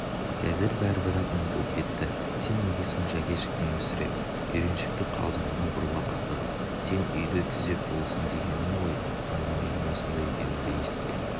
қазір бәрі бір-ақ ұмытылып кетті сен неге сонша кешіктің мүсіреп үйреншікті қалжыңына бұрыла бастады сен үйді түзеп болсын дегенім ғой онда менің осында екенімді есіткен